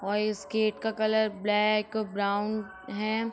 और इस गेट का कलर ब्लैक ब्राउन है।